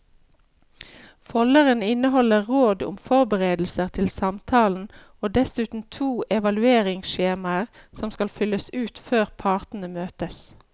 Folderen inneholder råd om forberedelser til samtalen og dessuten to evalueringsskjemaer som skal fylles ut før partene møtes.